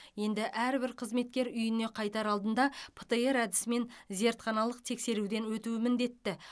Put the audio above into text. енді әрбір қызметкер үйіне қайтар алдында птр әдісімен зертханалық тексеруден өтуі міндетті